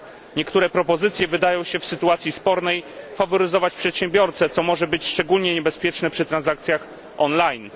Niektóre propozycje wydają się w sytuacji spornej faworyzować przedsiębiorcę, co może być szczególnie niebezpieczne przy transakcjach online.